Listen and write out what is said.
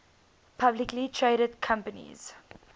publicly traded companies